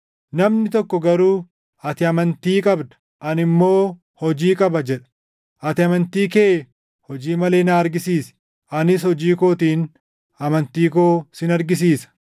Namni tokko garuu, “Ati amantii qabda; ani immoo hojii qaba” jedha. Ati amantii kee hojii malee na argisiisi; anis hojii kootiin amantii koo sin argisiisa.